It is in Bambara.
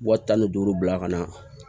Wa tan ni duuru bila ka na